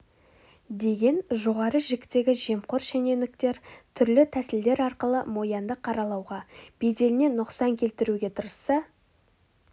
деген жоғары жіктегі жемқор шенеуніктер түрлі тәсілдер арқылы мо янды қаралауға беделіне нұқсан келтіруге тырысса